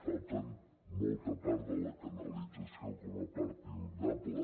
falta molta part de la canalització com a part inundable